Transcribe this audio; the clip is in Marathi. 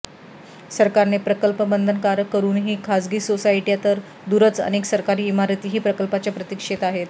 सरकारने प्रकल्प बंधनकारक करूनही खासगी सोसायट्या तर दूरच अनेक सरकारी इमारतीही प्रकल्पाच्या प्रतीक्षेत आहेत